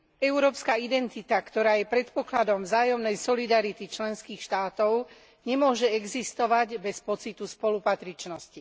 Európska identita, ktorá je predpokladom vzájomnej solidarity členských štátov, nemôže existovať bez pocitu spolupatričnosti.